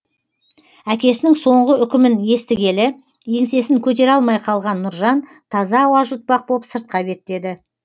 әкесінің соңғы үкімін естігелі еңсесін көтере алмай қалған нұржан таза ауа жұтпақ боп сыртқа беттеді